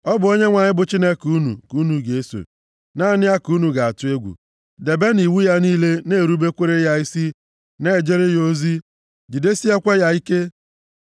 Ọ bụ Onyenwe anyị bụ Chineke unu ka unu ga-eso, naanị ya ka unu ga-atụ egwu. Debenụ iwu ya niile na-erubekwara ya isi, na-ejere ya ozi, jidesiekwa ya ike.